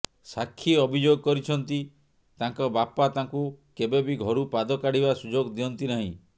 ସାକ୍ଷୀ ଅଭିଯୋଗ କରିଛନ୍ତି ତାଙ୍କ ବାପା ତାଙ୍କୁ କେବେ ବି ଘରୁ ପାଦ କାଢ଼ିବା ସୁଯୋଗ ଦିଅନ୍ତି ନାହିଁ